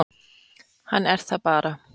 Hann er það bara.